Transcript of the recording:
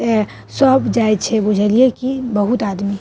ए सब जाये छे बुझलिये की बहुत आदमी।